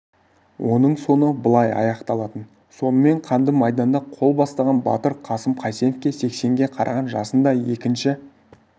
оның соңы былай аяқталатын сонымен қанды майданда қол бастаған батыр қасым қайсенов сексенге қараған жасында екінші